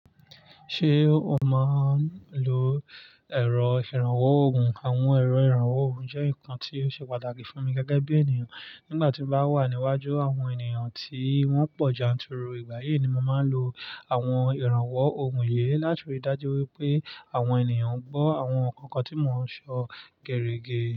Ṣé o máa ń lò ẹ̀rọ ìrànwọ́ òógùn? Àwọn ẹ̀rọ ìrànwọ́ òògùn jẹ́ nǹkan tí ó ṣe pàtàkì fún mi gègé bí ènìyàn. Nígbà tí mo bá wà níwájú àwọn ènìyàn tí wọ́n pọ̀ janturu ìgbà yí ni mo máa ń lo àwọn ìrànwọ́ òògùn yìí láti rí i dájú wípé àwọn ènìyàn gbọ́ àwọn kankan tí mò ń sọ gẹ̀rẹ́gẹ̀rẹ́